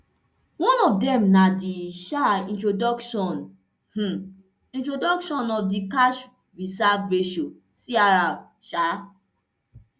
one of dem na di um introduction um introduction of di cash reserve ratio crr